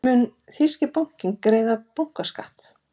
Mun þýski bankinn greiða bankaskatt?